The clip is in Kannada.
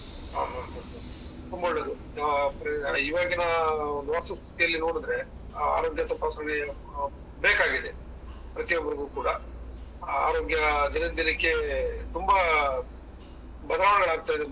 ಆ ಹ ಹ ತುಂಬಾ ಒಳ್ಳೇದು ಆ ಇವಾಗಿನ ವಾಸಸ್ಥಿತಿಯಲ್ಲಿ ನೋಡಿದ್ರೆ, ಆರೋಗ್ಯ ತಪಾಸಣೆ ಬೇಕಾಗಿದೆ, ಪ್ರತಿಯೊಬ್ಬರಿಗೂ ಕೂಡ. ಆರೋಗ್ಯ ದಿನ ದಿನಕ್ಕೆ ತುಂಬಾ ಬದಲಾವಣೆಗಳಾಗ್ತಾ.